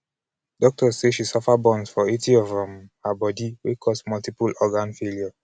doctors say she suffer burns for 80 percent of um her bodi wey "cause multiple-organ failure".